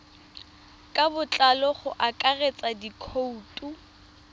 ka botlalo go akaretsa dikhoutu